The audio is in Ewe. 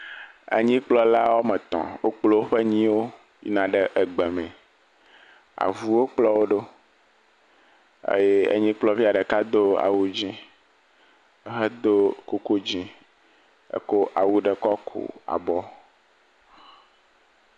Enyikplɔla woame etɔ̃, wokplɔ woƒe nyiwo yina gbeme, avuwo kplɔ wo ɖo, enyikplɔvi ɖeka do awu dzɛ̃ hedo kuku dzɛ̃ eko awu ɖe kɔku abɔ.